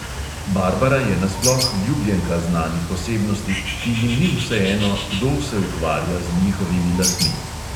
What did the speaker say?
Barbara je nasploh ljubljenka znanih osebnosti, ki jim ni vseeno, kdo se ukvarja z njihovimi lasmi.